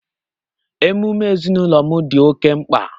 Emume ezinụlọ m dị oke mkpa